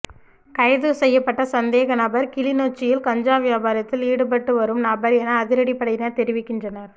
கைதுசெய்யப்பட்ட சந்தேகநபர் கிளிநொச்சியில் கஞ்சா வியாபாரத்தில் ஈடுபட்டுபட்டுவரும் நபர் என அதிரடிப்படையினர் தெரிவிக்கின்றனர்